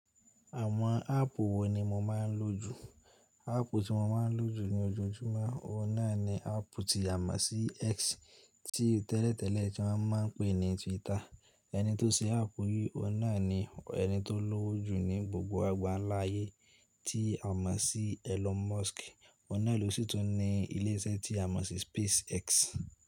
Àwọn áàpù wo ni mo máa ń lò jù? Áàpù tí mo máa ń lò jù ní ojoojúmọ́, ọ̀na ni áàpù tí a mọ̀ sí X, tí tẹ́lẹ̀tẹ́lẹ̀ tí won máa ń pè ní Twitter. Ẹni tó ṣe áàpù yìí, ọ̀na ni ẹni tó lówó jù ní gbogbo àgbáńlá ayé tí a mọ̀ sí Elon Musk. Ọ̀un na lò sì tún ní ilé iṣẹ́ tí a mọ̀ sí Space X.